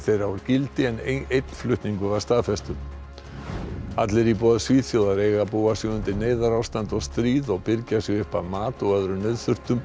þeirra úr gildi en einn flutningur var staðfestur allir íbúar Svíþjóðar eiga að búa sig undir neyðarástand og stríð og birgja sig upp af mat og öðrum nauðþurftum